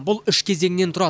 бұл үш кезеңнен тұрады